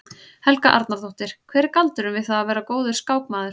Helga Arnardóttir: Hver er galdurinn við það að vera góður skákmaður?